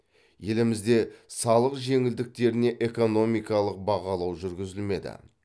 елімізде салық жеңілдіктеріне экономикалық бағалау жүргізілмеді